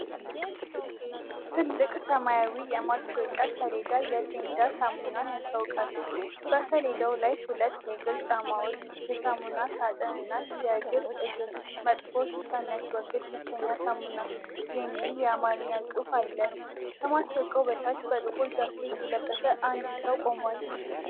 ትልቅ ሰማያዊ የማስታወቂያ ሰሌዳ የ"ፔዳል" ሳሙናን ያስተዋውቃል። በሰሌዳው ላይ ሁለት የእግር ጫማዎች፣ የሳሙና ሳጥን እና "የእግር እግር መጥፎ ሽታ የሚያስወግድ ብቸኛው ሳሙና!" የሚል የአማርኛ ጽሑፍ አለ። ከማስታወቂያው በታች በጥቁር ጃኬት የለበሰ አንድ ሰው ቆሟል።